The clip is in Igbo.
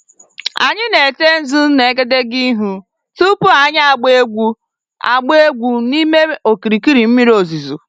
Anyị na-ete nzu n'egedege ihu tupu anyị agbaa egwu agbaa egwu n'ime okirikiri mmiri ozuzo.